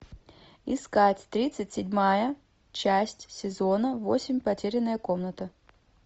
искать тридцать седьмая часть сезона восемь потерянная комната